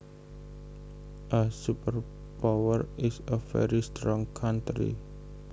A superpower is a very strong country